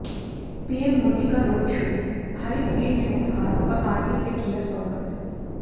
PM Modi का road show भारी भीड़ ने उपहार और आरती से किया स्वागत